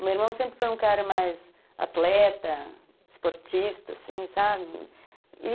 O meu irmão sempre foi um cara mais atleta, esportista, assim, sabe?